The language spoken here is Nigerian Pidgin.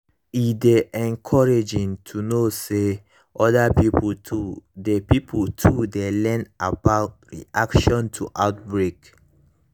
e dey encouraging to know say other pipo too dey pipo too dey learn about public reaction to outbreak